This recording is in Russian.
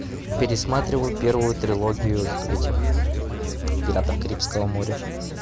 пересматриваю первую трилогию этих пиратов карибского моря